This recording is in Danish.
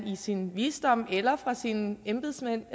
i sin visdom ser eller af sine embedsmænd